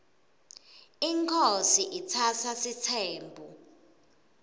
inkhosi itsatsa sitsembu